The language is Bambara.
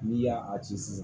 N'i y'a a ci sisan